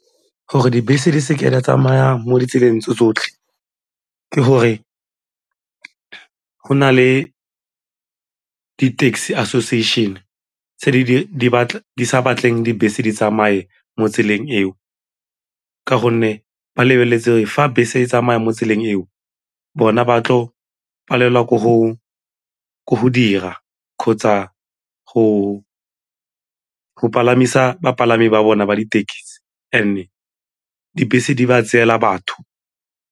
Gore dibese di seke di a tsamaya mo ditseleng tse tsotlhe ke gore go na le di-taxi association tse di sa batleng dibese di tsamaye mo tseleng eo ka gonne ba lebeletse gore fa bese e tsamaya mo tseleng eo bona ba tlo palelwa ke go dira kgotsa go palamisa bapalami ba bona ba dithekisi and-e dibese di ba tseela batho.